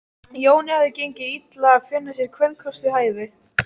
Jóni hafði gengið illa að finna sér kvenkost við hæfi.